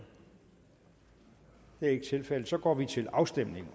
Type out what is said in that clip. det er ikke tilfældet så går vi til afstemning